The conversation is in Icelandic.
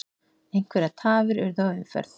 Einhverjar tafir urðu á umferð